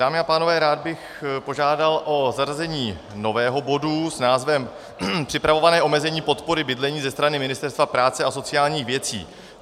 Dámy a pánové, rád bych požádal o zařazení nového bodu s názvem Připravované omezení podpory bydlení ze strany Ministerstva práce a sociálních věcí.